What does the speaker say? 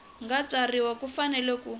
nga tsarisiwa u fanele ku